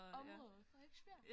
Område Frederiksbjerg